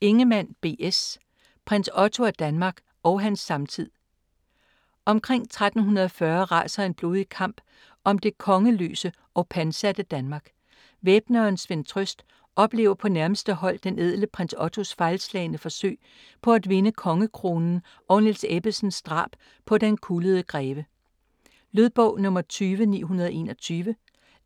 Ingemann, B. S.: Prins Otto af Danmark og hans samtid Omkring 1340 raser en blodig kamp om det kongeløse og pantsatte Danmark. Væbneren Svend Trøst oplever på nærmeste hold den ædle Prins Ottos fejlslagne forsøg på at vinde kongekronen og Niels Ebbesens drab på "Den kullede Greve". Lydbog 20921